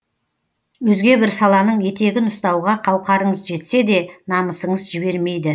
өзге бір саланың етегін ұстауға қауқарыңыз жетсе де намысыңыз жібермейді